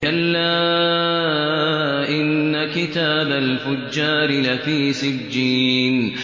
كَلَّا إِنَّ كِتَابَ الْفُجَّارِ لَفِي سِجِّينٍ